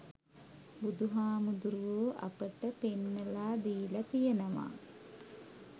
බුදුහාමුදුරැවෝ අපට පෙන්නලා දීල තියනවා